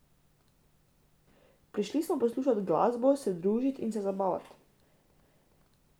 Prišli smo poslušat glasbo, se družit, in se zabavat.